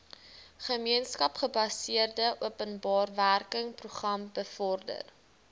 gemeenskapsgebaseerde openbarewerkeprogram bevorder